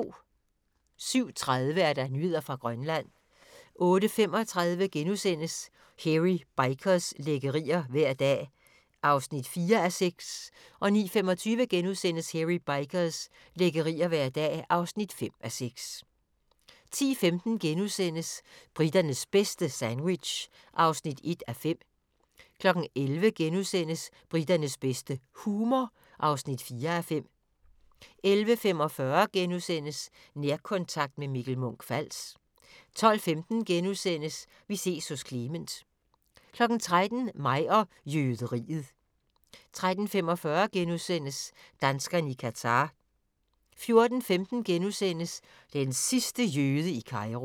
07:30: Nyheder fra Grønland 08:35: Hairy Bikers – lækkerier hver dag (4:6)* 09:25: Hairy Bikers – lækkerier hver dag (5:6)* 10:15: Briternes bedste - sandwich (1:5)* 11:00: Briternes bedste - humor (4:5)* 11:45: Nærkontakt – med Mikkel Munch-Fals * 12:15: Vi ses hos Clement * 13:00: Mig og jøderiet 13:45: Danskerne i Qatar * 14:15: Den sidste jøde i Kairo *